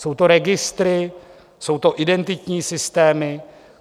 Jsou to registry, jsou to identitní systémy.